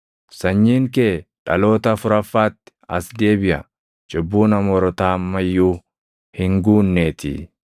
Sanyiin kee dhaloota afuraffaatti as deebiʼa; cubbuun Amoorotaa amma iyyuu hin guunneetii.”